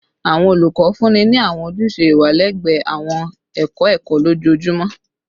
Awọn olukọ funni ni awọn ojuse iwa lẹgbẹẹ awọn ẹkọ ẹkọ lojoojumọ